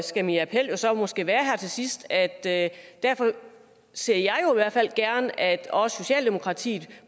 skal min appel så måske være her til sidst at derfor ser jeg jo gerne at også socialdemokratiet